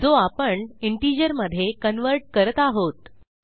जो आपण इंटिजर मधे कन्व्हर्ट करत आहोत